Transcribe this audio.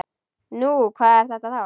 Nú, hvað er þetta þá?